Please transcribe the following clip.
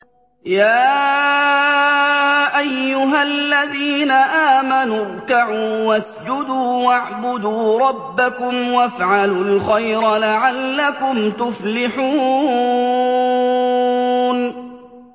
يَا أَيُّهَا الَّذِينَ آمَنُوا ارْكَعُوا وَاسْجُدُوا وَاعْبُدُوا رَبَّكُمْ وَافْعَلُوا الْخَيْرَ لَعَلَّكُمْ تُفْلِحُونَ ۩